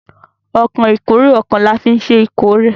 Ọkọ̀ ìkórè ọkà ní afin ṣe ìkórè.